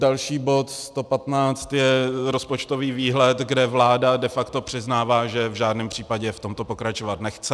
Další bod 115 je rozpočtový výhled, kde vláda de facto přiznává, že v žádném případě v tomto pokračovat nechce.